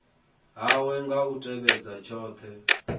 hawe kha u tevhedza tshothe